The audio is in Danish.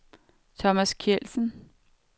Thomas Kjeldsen